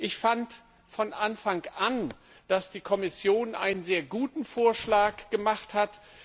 Ich fand von Anfang an, dass die Kommission einen sehr guten Vorschlag gemacht hat.